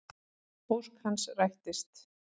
Ósk hans rættist.